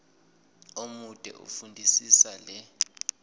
omude fundisisa le